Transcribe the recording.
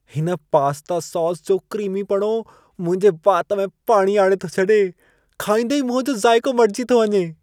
हिन pasta sauce जो क्रीमीपणो मुंहिंजे वात में पाणी आणे थो छॾे। खाईंदे ई मुंहं जो ज़ाइको मटिजी थो वञे।